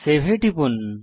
save এ টিপুন